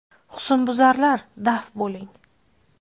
Husnbuzarlar, daf bo‘ling!.